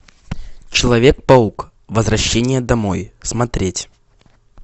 человек паук возвращение домой смотреть